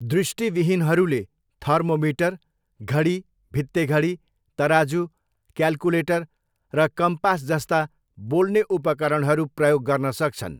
दृष्टिविहीनहरूले thermometer, घडी, भित्तेघडी, तराजु, क्याल्कुलेटर र कम्पास जस्ता बोल्ने उपकरणहरू प्रयोग गर्न सक्छन्।